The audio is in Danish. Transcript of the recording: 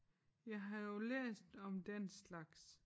Jeg har jo læst om den slags